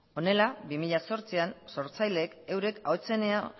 honela bi mila zortzian sortzaileek eurek ahotsenea